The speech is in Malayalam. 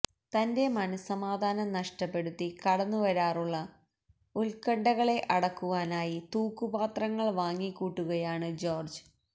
തന്റെ മനഃസമാധാനം നഷ്ടപ്പെടുത്തി കടന്നുവരാറുള്ള ഉത്കണ്ഠകളെ അടക്കുവാനായി തൂക്കുപാത്രങ്ങള് വാങ്ങിക്കൂട്ടുകയാണ് ജോര്ജ്